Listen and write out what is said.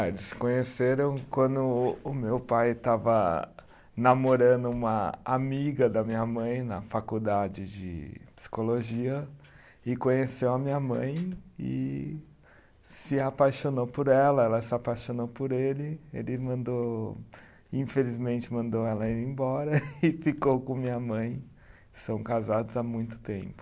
Ah, eles se conheceram quando o meu pai estava namorando uma amiga da minha mãe na faculdade de psicologia e conheceu a minha mãe e se apaixonou por ela, ela se apaixonou por ele, ele mandou, infelizmente mandou ela ir embora e ficou com minha mãe, são casados há muito tempo.